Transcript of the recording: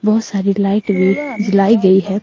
बहोत सारी लाइट भी जलाई गई है।